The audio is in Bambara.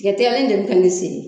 Tigɛtigɛli in de bɛ ka ne se.